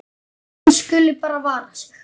Hún skuli bara vara sig.